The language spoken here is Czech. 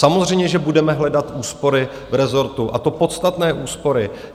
Samozřejmě že budeme hledat úspory v rezortu, a to podstatné úspory.